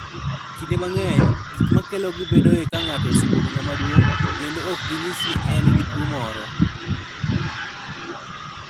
Kinde mang'eny, gik makelogi bedoe ka ng'ato osebedo ng'ama duong', kendo ok ginyis ni en gi tuwo moro.